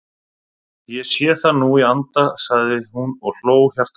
Ég sé það nú í anda sagði hún og hló hjartanlega.